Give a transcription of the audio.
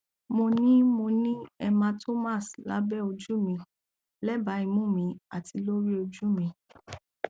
mo ni mo ni hematomas labẹ oju mi lẹba imu mi ati lori oju mi